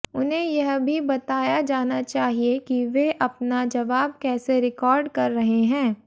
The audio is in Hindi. उन्हें यह भी बताया जाना चाहिए कि वे अपना जवाब कैसे रिकॉर्ड कर रहे हैं